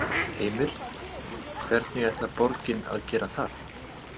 Heimir: Hvernig ætlar borgin að gera það?